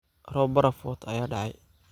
Roob baraf wato aya da'ay.